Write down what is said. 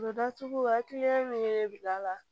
datugu hakili min bɛ bila la